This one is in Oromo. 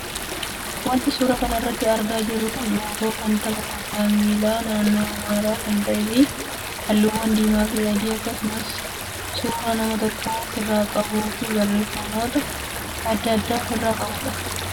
Wanti suuraa kanarraa argaa jirru kun loogoo kan tapha kubbaa miilaa naannoo amaaraa kan ta'ee fi halluuwwan diimaa fi adii akkasumas suuraa nama tokkoo ofirraa qabuu fi barreeffamoota adda addaa ofirraa qabudha.